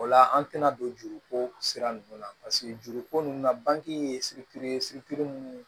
O la an tɛna don juruko sira ninnu na paseke juruko ninnu na bange ye situlu ye